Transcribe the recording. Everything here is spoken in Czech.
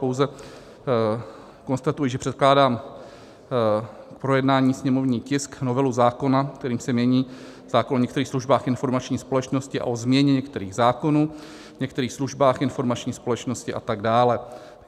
Pouze konstatuji, že předkládám k projednání sněmovní tisk, novelu zákona, kterým se mění zákon o některých službách informační společnosti a o změně některých zákonů, některých službách informační společnosti a tak dále.